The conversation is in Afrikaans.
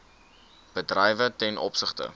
bedrywe ten opsigte